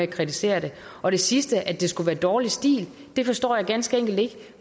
kritisere den og det sidste at det skulle være dårlig stil forstår jeg ganske enkelt ikke